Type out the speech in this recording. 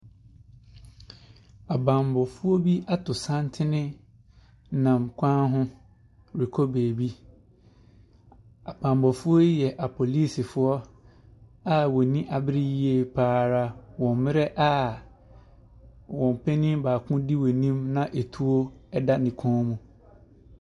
Abammɔfoɔ bi ato santene nam kɔn ho ɛrekɔ beebi. Abammɔfoɔ yi yɛ apolisifoɔ a wɔn ani abere yie pa ara a wɔn panini baako ɛdi wɔn anim na atuo ɛda ne kɔn mu.